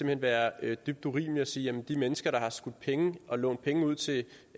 hen være dybt urimeligt at sige at de mennesker der har skudt penge ind og lånt penge ud til